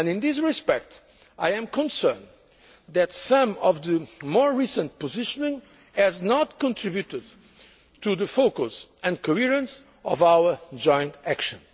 Union. In this respect, I am concerned that some of the more recent positioning has not contributed to the focus and coherence of our joint action.